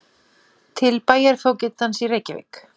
Til bæjarfógetans í Reykjavík